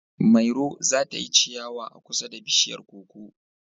Mairo za ta yi ciyawa a kusa da bishiyar koko